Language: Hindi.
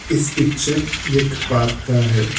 इस पिक्चर एक पार्क का है।